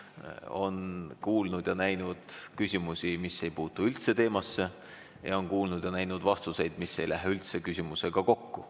Olen kuulnud ja näinud küsimusi, mis ei puutu üldse teemasse, ja olen kuulnud ja näinud vastuseid, mis ei lähe üldse küsimusega kokku.